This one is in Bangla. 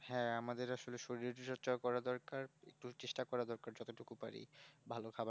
হ্যাঁ আমাদের আসলে শরীর এর চর্চা করা দরকার একটু চেষ্টা করার দরকার যতটুকু পারি